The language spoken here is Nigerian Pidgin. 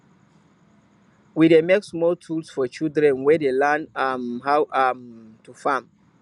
we dey make small tools for children wey dey learn um how um to farm